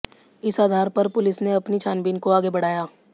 इस आधार पर पुलिस ने अपनी छानबीन को आगे बढ़ाया